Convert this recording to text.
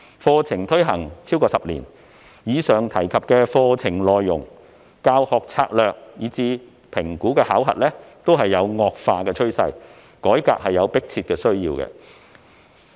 課程已推行超過10年，在課程內容、教學策略以至評估考核方面都有惡化的趨勢，因此有迫切需要進行改革。